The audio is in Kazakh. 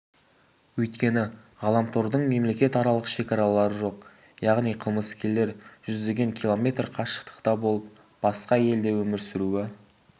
өйткені ғаламтордың мемлекетаралық шекаралары жоқ яғни қылмыскерлер жүздеген километр қашықтықта болып басқа елде өмір сүруі